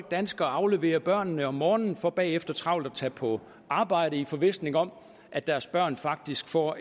danskere afleverer børnene om morgenen for bagefter travlt at tage på arbejde i forvisning om at deres børn faktisk får